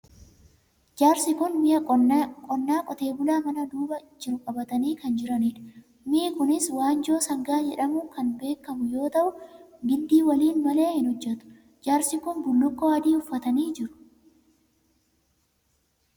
Jaarsi kun mi'a qonnaa qotee bulaa mana duuba jiru qabatanii kan jiranidha. Mi'i kunis waanjoo sangaa jedhamuun kan beekamu yoo ta'u, gindii waliin malee hin hojjetu. Jaarsi kun bullukkoo adii uffatanii jiru.